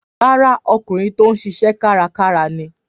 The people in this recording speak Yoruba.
Rárá, ọkùnrin tó ń ṣiṣẹ́ kárakára ni.